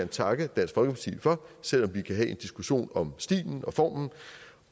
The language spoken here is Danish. takke dansk folkeparti for selv om vi kan have en diskussion om stilen